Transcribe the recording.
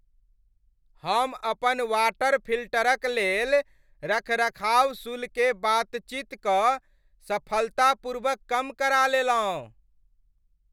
हम अपन वाटर फिल्टरक लेल रखरखाव शुल्ककेँ बातचीत कऽ सफलतापूर्वक कम करा लेलहुँ।